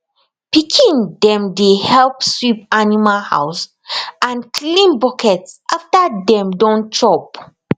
pikin dem dey help sweep animal house and clean bucket after dem don chop